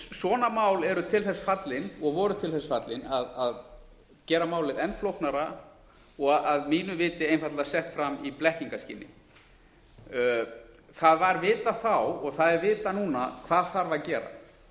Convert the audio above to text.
svona mál eru til þess fallin og voru til þess fallin að gera málið enn flóknara og að mínu viti einfaldlega sett fram í blekkingaskyni það var vitað þá og það er vitað núna hvað þarf að gera